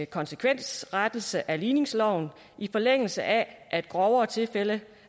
konsekvensrettelse af ligningsloven i forlængelse af at grovere tilfælde